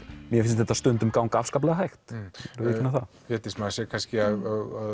mér finnst þetta stundum ganga afskaplega hægt Védís maður sér kannski að